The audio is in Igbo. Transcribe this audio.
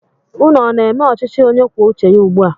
Ụnụ ọ na-eme ọchịchị onye kwuo uche ya ugbua?